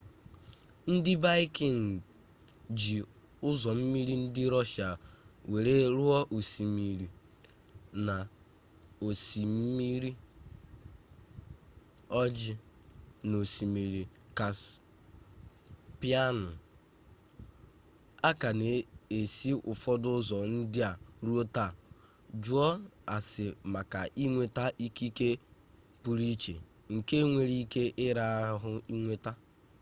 ndị vaịkịngị ji ụzọ mmiri ndị rọshịa were ruo osmiri na osimiri ojii na osimiri kaspịanụ a ka na-esi ụfọdụ ụzọ ndị a ruo taa jụọ ase maka inweta ikike pụrụ iche nke nwere ike ịra ahụ inweta